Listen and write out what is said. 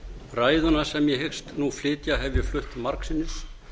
ræðuna sem ég hyggst nú flytja hef ég flutt margsinnis